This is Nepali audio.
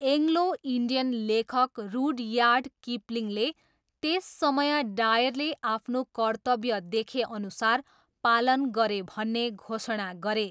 एङ्ग्लो इन्डियन लेखक रुडयार्ड किपलिङले त्यस समय डायरले आफ्नो कर्तव्य देखेअनुसार पालन गरे भन्ने घोषणा गरे।